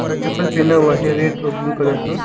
और चप्पल पहना हुआ है रेड और ब्लू कलर का।